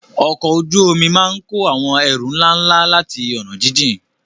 Ọkọ̀ ojú omi máa ń kó àwọn ẹrù ńlá ńlá láti ọ̀nà jíjìn.